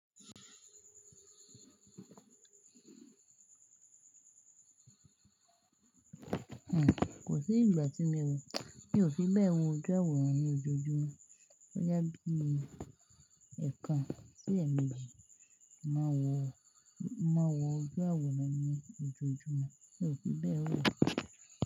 Ẹ̀, kò sí ìgbà tí mi o mi ò fi bẹ́ẹ̀ wọ ojú àwòrán ní ojoojúmọ́. Boyá bí i ẹ̀ẹ̀kan sí ẹẹ̀méjì mo máa n wọ̀ ojú àwòrán ní ojoojúmọ́, mi ò fi bẹ́ẹ̀ wọ̀